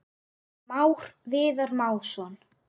Már Viðar Másson.